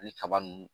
Ani kaba nun